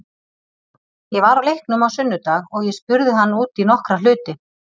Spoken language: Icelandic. Ég var á leiknum á sunnudag og ég spurði hann út í nokkra hluti.